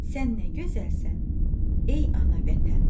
Sən nə gözəlsən, ey ana Vətən.